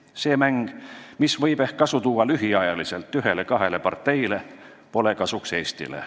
See mäng, mis võib ehk lühiajaliselt ühele-kahele parteile kasu tuua, pole kasuks Eestile.